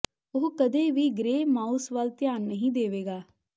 ਉਹ ਕਦੇ ਵੀ ਗ੍ਰੇ ਮਾਊਸ ਵੱਲ ਧਿਆਨ ਨਹੀਂ ਦੇਵੇਗਾ